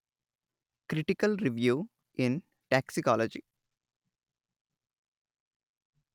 critical review in toxicology